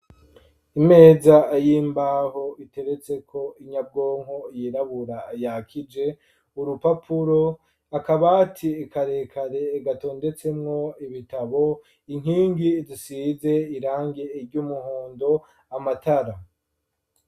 Imeza y'imbaho iteretseko inyabwonko yirabura yakije, urupapuro, akabati karekare gatondetsemwo ibitabo, inkingi zisize irangi ry'umuhondo, amatara.